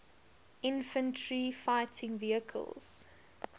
infantry fighting vehicles